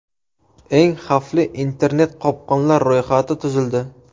Eng xavfli internet-qopqonlar ro‘yxati tuzildi.